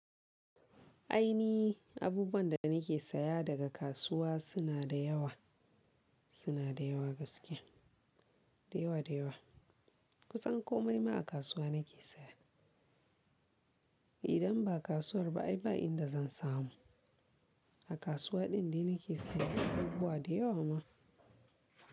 Ainihi abubuwan da nake saya daga kasuwa suna da yawa, suna da yawa gaskiya, da yawa da yawa. Kusan komai ma a kasuwa nake saya. Idan ba kasuwar ba ai ba inda zan samu. A kasuwa din da nake sayan abubuwa da yawa mana.